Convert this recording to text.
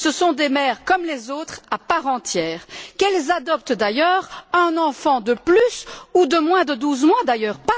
Ce sont des mères comme les autres, à part entière, qu'elles adoptent d'ailleurs un enfant de plus ou de moins de douze mois d'ailleurs